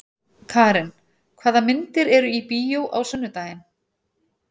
Karin, hvaða myndir eru í bíó á sunnudaginn?